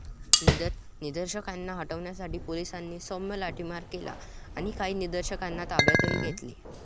निदर्शकांना हटवण्यासाठी पोलिसांनी सौम्य लाठीमार केला आणि काही निदर्शकांना ताब्यातही घेतलं.